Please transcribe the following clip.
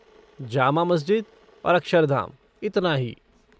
जामा मस्जिद और अक्षरधाम, इतना ही।